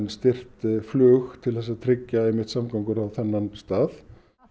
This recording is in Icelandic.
styrkt flug til að tryggja samgöngur á þennan stað